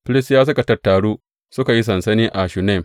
Filistiyawa suka tattaru suka yi sansani a Shunem.